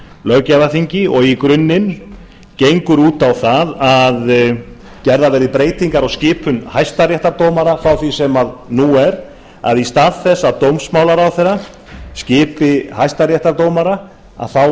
löggjafarþingi og í grunninn gengur út á það að gerðar verði breytingar á skipun hæstaréttardómara frá því sem nú er að í stað þess að dómsmálaráðherra skipi hæstaréttardómara þá